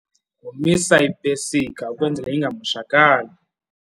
Yomisa ipesika ukwenzela ingamoshakali.